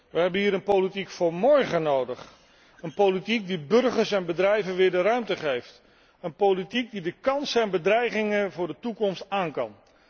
We hebben hier een politiek van morgen nodig, een politiek die burgers en bedrijven weer de ruimte geeft, een politiek die de kansen en bedreigingen voor de toekomst aankan.